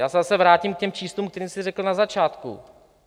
Já se zase vrátím k těm číslům, která jsem řekl na začátku.